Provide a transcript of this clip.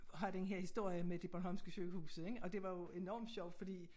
Have den her historie med de bornholmske sygehuse ik og det var jo enormt sjovt fordi